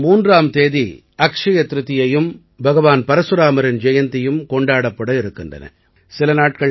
மே மாதம் 3ஆம் தேதி அட்சய திரிதியையும் பகவான் பரசுராமரின் ஜெயந்தியும் கொண்டாடப்பட இருக்கின்றன